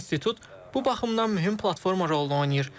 Bu institut bu baxımdan mühüm platforma rolunu oynayır.